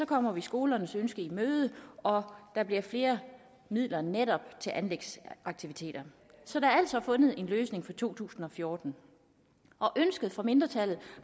kommer vi skolernes ønske i møde og der bliver flere midler netop til anlægsaktiviteter så der er altså fundet en løsning for to tusind og fjorten ønsket fra mindretallet